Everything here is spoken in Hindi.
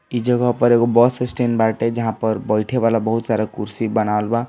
इ जगह पर एगो बस स्टेंड बाटे जहॉ पर बेठे वाला बहुत सारा कुर्सी बनावल बा।